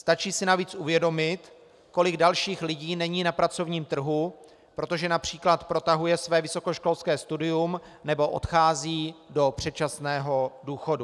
Stačí si navíc uvědomit, kolik dalších lidí není na pracovním trhu, protože například protahují své vysokoškolské studium nebo odcházejí do předčasného důchodu.